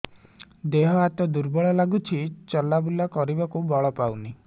ଦେହ ହାତ ଦୁର୍ବଳ ଲାଗୁଛି ଚଲାବୁଲା କରିବାକୁ ବଳ ପାଉନି